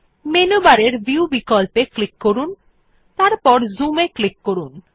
menu বারের view বিকল্পে click করুন এবং তারপর Zoom এ ক্লিক করুন